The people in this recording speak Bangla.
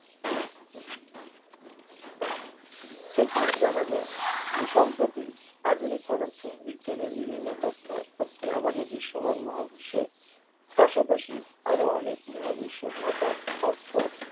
সবথেকে জানা যায় যে সম্প্রতি আধুনিক পদার্থ বিজ্ঞানের বিভিন্ন তথ্য তথ্যে আমাদের দৃশ্যমান মহাবিশ্বের পাশাপাশি আরো অনেক মহাবিশ্ব থাকার অর্থ